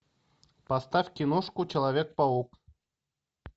поставь киношку человек паук